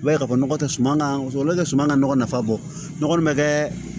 I b'a ye k'a fɔ nɔgɔ tɛ suma ka sɔrɔ ne tɛ suman ka nɔgɔ nafa bɔ ne kɔni bɛ kɛ